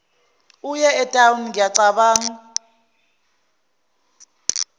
eye etown ngiyacabanga